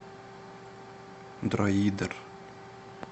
дроидер